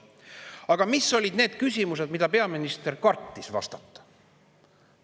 Aga mis olid need küsimused, millele peaminister kartis vastata?